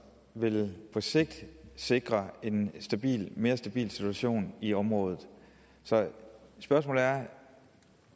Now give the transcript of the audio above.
vel på sigt sikrer en mere stabil situation i området så spørgsmålet er